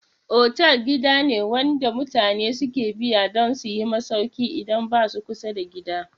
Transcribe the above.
Fotel gida ne wanda mutane suke biya dun suyi masauki idan basa kusa da gida